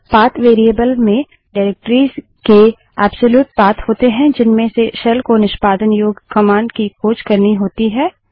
path variable में निर्देशिकाओंडाइरेक्टरिस के एब्सोल्यूट पाथ होते है जिनमें से शेल को निष्पादन योग्य कमांड की खोज करनी होती है